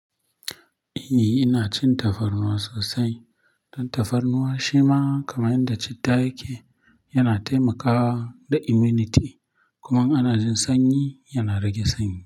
Eh ina cin tafarnuwa sosai. Don tafarnuwa shima kamar yadda citta yake, yana taimakawa da immunity kuma ana jin sanyi yana rage sanyi.